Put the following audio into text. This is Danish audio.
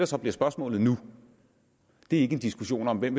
så bliver spørgsmålet nu er ikke en diskussion om hvem